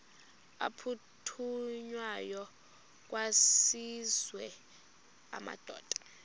aphuthunywayo kwaziswe amadoda